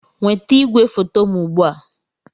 Nweta igwefoto m ugbu a!